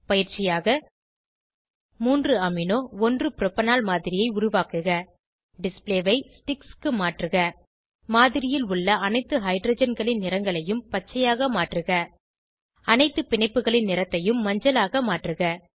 பயிற்சியாக 3 amino 1 propanol மாதிரியை உருவாக்குக டிஸ்ப்ளே ஐ ஸ்டிக்ஸ் க்கு மாற்றுக மாதிரியில் உள்ள அனைத்து ஹைட்ரஜன்களின் நிறங்களையும் பச்சையாக மாற்றுக அனைத்து பிணைப்புகளின் நிறத்தையும் மஞ்சளாக மாற்றுக